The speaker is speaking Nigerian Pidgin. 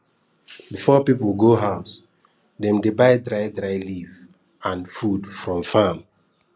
before people go house dem dey buy dry dry leaf and food from farm